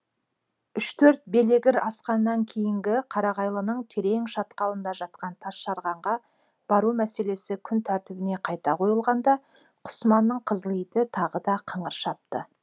үш төрт белегір асқаннан кейінгі қарағайлының терең шатқалында жатқан тасжарғанға бару мәселесі күн тәртібіне қайта қойылғанда құсыманның қызыл иті тағы да қыңыр шапты